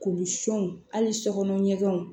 Kurusunw hali sɔkɔnɔ ɲɛgɛnw